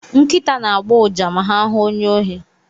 Nkịta na-agbọ ụja ma ha hụ onye ohi.